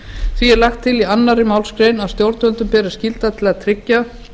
því er lagt til í annarri málsgrein að stjórnvöldum beri skylda til að tryggja